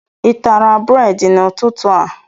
I tara bredị n'ụtụtụ a?